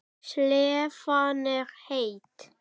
Slefan er heit.